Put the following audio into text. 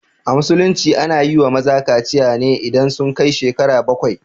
A musulunci ana yiwa maza kaciya ne idan sun kai shekaru bakwai